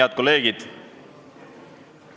Head kolleegid!